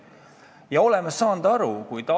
Taavi enne küsis selle kohta.